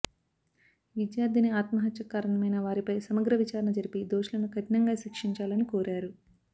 విద్యార్థిని ఆత్మహత్యకు కారణమైన వారిపై సమగ్ర విచారణ జరిపి దోషులను కఠినంగా శిక్షించాలని కోరారు